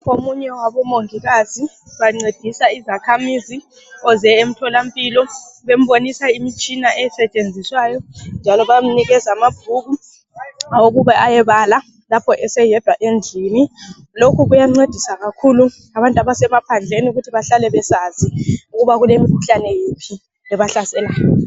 Omunye wabo mongikazi bangcedisa izakhamizi owezomothola mpilo bembonisa imitshina esetshenziswa njalo bamnikeza amabhuku wokuba eyebala lapha eseyedwa endlini lokho kuyangcedisa kakhulu abantu bemaphandleni ubana behlale besazi ukuthi kulemikhuhlane iphi ebahlaselayo